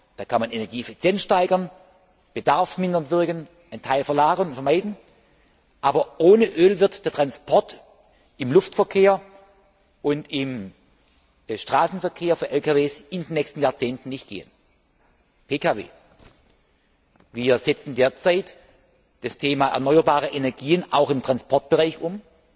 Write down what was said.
Da kann man Energieeffizienz steigern, bedarfsmindernd wirken, einen Teil verlagern und vermeiden, aber ohne Öl wird der Transport im Luftverkehr und im Straßenverkehr mit LKW in den nächsten Jahrzehnten nicht gehen. PKW Wir setzen derzeit das Thema erneuerbare Energien auch im Transportbereich